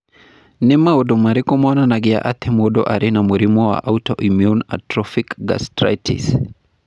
Nĩ maũndũ marĩkũ monanagia atĩ mũndũ arĩ na mũrimũ wa autoimmune atrophic gastritis?